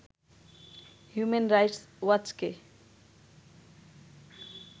human rights ওয়াচকে